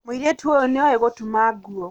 Mũirĩtu ũyũ nĩoĩ gũtuma nguo